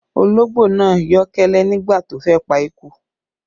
Ológbò náà yọ́ kẹ́lẹ́ nígbà tó fẹ́ pa eku